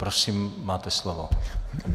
Prosím, máte slovo.